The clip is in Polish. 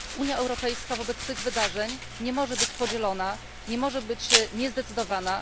Unia Europejska wobec tych wydarzeń nie może być podzielona, nie może być niezdecydowana.